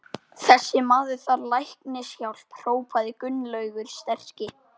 Þessi maður þarf læknishjálp hrópaði Gunnlaugur sterki.